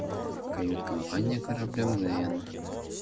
кают-компания корабля мгновенно